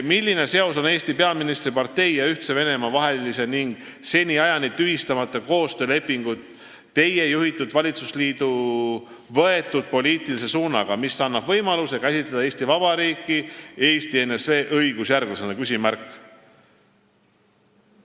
Milline seos on Eesti peaministri partei ja Ühtse Venemaa vahelisel ning seniajani tühistamata koostöölepingul Teie juhitud valitsusliidu võetud poliitilise suunaga, mis annab võimaluse käsitleda Eesti Vabariiki ENSV õigusjärglasena?